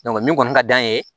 min kɔni ka d'an ye